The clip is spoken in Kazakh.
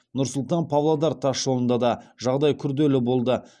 нұр сұлтан павлодар тасжолында да жағдай күрделі болды